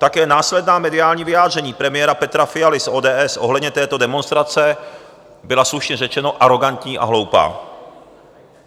Také následná mediální vyjádření premiéra Petra Fialy z ODS ohledně této demonstrace byla, slušně řečeno, arogantní a hloupá.